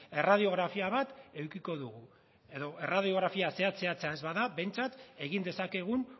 erradiografia bat edukiko dugu edo erradiografia zehatz zehatza ez bada behintzat egin dezakegun